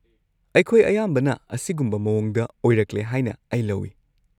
ꯑꯩꯈꯣꯏ ꯑꯌꯥꯝꯕꯅ ꯑꯁꯤꯒꯨꯝꯕ ꯃꯑꯣꯡꯗ ꯑꯣꯏꯔꯛꯂꯦ ꯍꯥꯏꯅ ꯑꯩ ꯂꯧꯏ꯫